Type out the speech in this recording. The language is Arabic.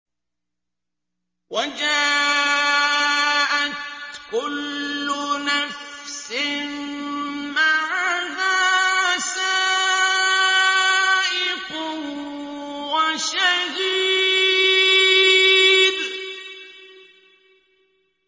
وَجَاءَتْ كُلُّ نَفْسٍ مَّعَهَا سَائِقٌ وَشَهِيدٌ